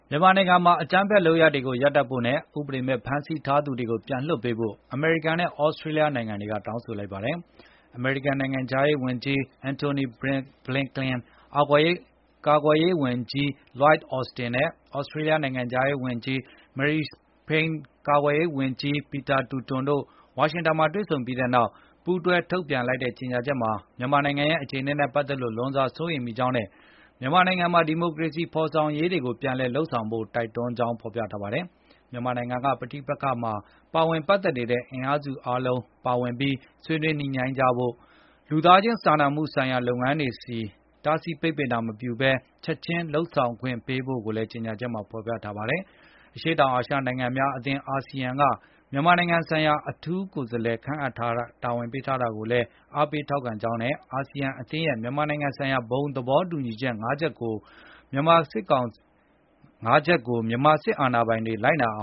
မြန်မာနိုင်ငံမှာ အကြမ်းဖက် လုပ်ရပ်တွေကိုရပ်ဖို့နဲ့ ဥပဒေမဲ့ ဖမ်းဆီးထားသူတွေကို ပြန်လွှတ်ပေးဖို့ အမေရိကန်နဲ့ သြစတြေးလျ နိုင်ငံတို့က တောင်းဆိုလိုက်ကြပါတယ်။ အမေရိကန် နိုင်ငံခြားရေးဝန်ကြီး Antony Blinken ကာကွယ်ရေးဝန်ကြီး Lloyd Austin နဲ့ သြစတြေးလျ နိုင်ငံခြားရေးဝန်ကြီး Marise Payne ကာကွယ်ရေးဝန်ကြီး Peter Dutton တို့ ဝါရှင်တန်မှာ တွေ့ဆုံခဲ့ပြီးနောက် ပူးတွဲ ထုတ်ပြန်လိုက်တဲ့ ကြေညာချက်မှာတော့ မြန်မာနိုင်ငံရဲ့ အခြေအနေနဲ့ ပတ်သက်လို့ လွန်စွာစိုးရိမ်မိကြောင်းနဲ့ မြန်မာနိုင်ငံမှာ ဒီမိုကရေစီဖေါ်ဆောင်ရေးတွေကို ပြန်လည်လုပ်ဆောင်ဖို့လည်း တိုက်တွန်းထားပါတယ်။ မြန်မာနိုင်ငံက ပဋိပက္ခမှာ ပတ်သက်နေတဲ့ အင်အားစုအားလုံး ပါဝင်ပြီး၊ ဆွေးနွေးညှိနှိုင်းကြဖို့၊ လူသားချင်းစာနာမှုဆိုင်ရာ လုပ်ငန်းတွေကို တားဆီးပိတ်ပင်ခြင်းမပြုဘဲ ချက်ခြင်းလုပ်ဆောင်ခွင့်ပေးဖို့လည်း ကြေငြာချက်မှာ ဖော်ပြထားပါတယ်။ အရှေ့တောင်အာရှ နိုင်ငံများအသင်း (ASEAN) က မြန်မာနိုင်ငံဆိုင်ရာ အထူးကိုယ်စားလှယ် ခန့်အပ်တာဝန်ပေးခဲ့တာကို အားပေးကြောင်းနဲ့ အာဆီယံအသင်းရဲ့ မြန်မာနိုင်ငံဆိုင်ရာ ဘုံသဘောတူညီချက် ၅ ခုကို မြန်မာစစ်အာဏာပိုင်တွေ လိုက်နာအ